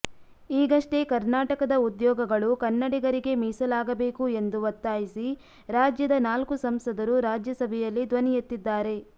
ಈಗಷ್ಟೇ ಕರ್ನಾಟಕದ ಉದ್ಯೋಗಗಳು ಕನ್ನಡಿಗರಿಗೇ ಮೀಸಲಾಗಬೇಕು ಎಂದು ಒತ್ತಾಯಿಸಿ ರಾಜ್ಯದ ನಾಲ್ಕು ಸಂಸದರು ರಾಜ್ಯಸಭೆಯಲ್ಲಿ ಧ್ವನಿ ಎತ್ತಿದ್ದಾರೆ